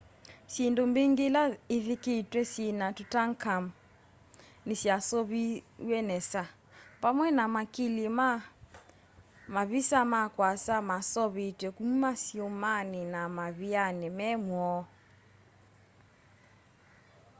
syĩndũ mbĩngĩ ila ithikĩtwe syĩna tũtankhamũn nĩsyasuviiwe nesa vamwe na makili ma mavisa ma kwasa maseũvĩtwe kũma syũmanĩ na mavĩanĩ me mwoo